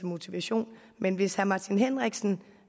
motivation men hvis herre martin henriksen